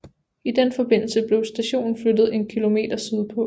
I den forbindelse blev stationen flyttet en kilometer sydpå